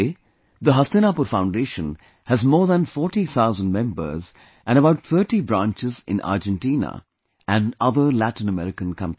Today the Hastinapur Foundation has more than 40,000 members and about 30 branches in Argentina and other Latin American countries